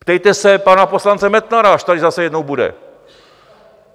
Ptejte se pana poslance Metnara, až tady zase jednou bude.